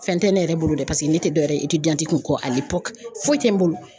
Fɛn tɛ ne yɛrɛ bolo dɛ paseke ne tɛ dɔwɛrɛ ye kɔ foyi tɛ n bolo.